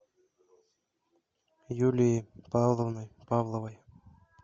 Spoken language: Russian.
юлией павловной павловой